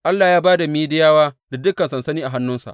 Allah ya ba da Midiyawa da dukan sansani a hannuwansa.